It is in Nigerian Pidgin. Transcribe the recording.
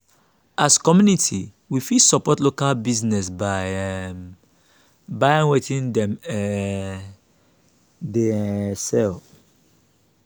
as community we fit support local business by um buying wetin dem um dey um sell